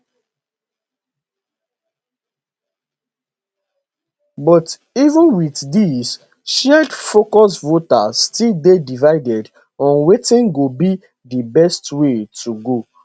but even wit dis shared focus voters still dey divided on wetin go be di best way to go